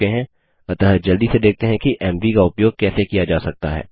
अतः जल्दी से देखते हैं कि एमवी का उपयोग कैसे किया जा सकता है